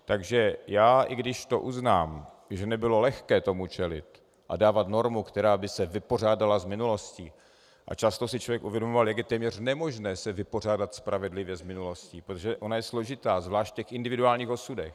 Takže já i když to uznám, že nebylo lehké tomu čelit, a dávat normu, která by se vypořádala s minulostí, a často si člověk uvědomoval, jak je téměř nemožné se vypořádat spravedlivě s minulostí, protože ona je složitá, zvlášť v těch individuálních osudech.